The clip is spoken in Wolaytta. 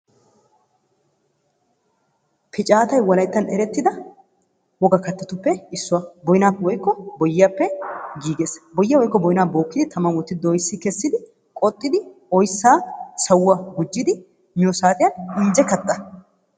Piccaatay wolayttan erettida woga kattatuppe issuwa. Booyinaappe woykko boyiyappe giggees, boyyiyaa woykko boynnaa bookkidi tamman wotti dooyssi kessidi qoxxidi oyssan sawuwa gujjidi miyo saatiyan injje katta.